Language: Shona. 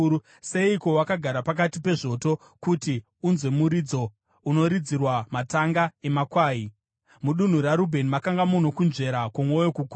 Seiko wakagara pakati pezvoto kuti unzwe muridzo unoridzirwa matanga emakwai? Mudunhu raRubheni makanga muno kunzvera kwomwoyo kukuru.